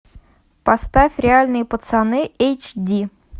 поставь реальные пацаны эйч ди